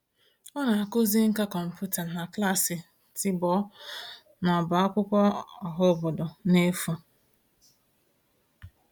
Ọ na-akụzi nkà kọmputa na klaasị tiboh n'ọbá akwụkwọ ọhaobodo n'efu.